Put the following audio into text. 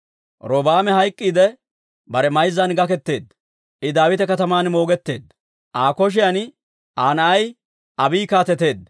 Robi'aame hayk'k'iidde, bare mayzzan gaketeedda; I Daawita Kataman moogetteedda. Aa kotaan Aa na'ay Abiiyi kaateteedda.